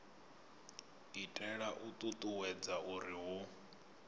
itela u ṱuṱuwedza uri hu